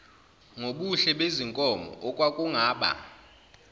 ngubuhle bezinkomo okwakungaba